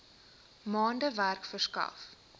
maande werk verskaf